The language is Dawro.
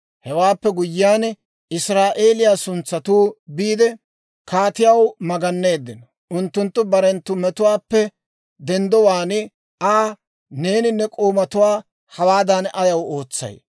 Hewaappe guyyiyaan Israa'eeliyaa suntsatuu biide kaatiyaw maganeeddino; unttunttu barenttu metuwaappe denddowaan Aa, «Neeni ne k'oomatuwaa hawaadan ayaw ootsay?